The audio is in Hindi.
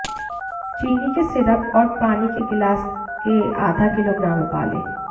चीनी के सिरप और पानी के गिलास के आधा किलोग्राम उबालें